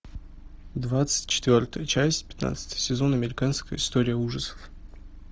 двадцать четвертая часть пятнадцатый сезон американская история ужасов